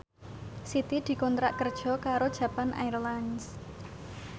Siti dikontrak kerja karo Japan Airlines